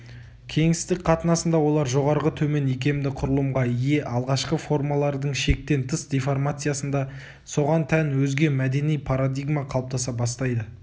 кеңістіктік қатынасында олар жоғарғы-төмен икемді құрылымға ие алғашқы формалардың шектен тыс деформациясында соған тән өзге мәдени парадигма қалыптаса бастайды